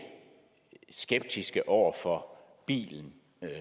skeptiske over for bilen